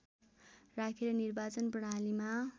राखेर निर्वाचन प्रणालीमा